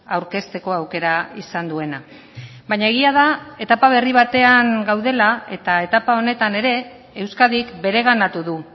aurkezteko aukera izan duena baina egia da etapa berri batean gaudela eta etapa honetan ere euskadik bereganatu du